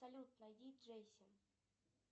салют найди джейси